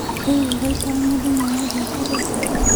Rĩu ũgaikara mũthenya wothe ũtarĩte?